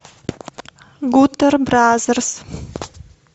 гутер бразерс